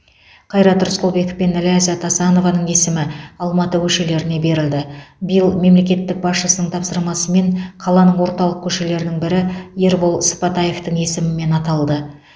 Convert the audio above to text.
қайрат рысқұлбеков пен ләззат асанованың есімі алматы көшелеріне берілді биыл мемлекет басшысының тапсырмасымен қаланың орталық көшелерінің бірі ербол сыпатаевтың есімімен аталды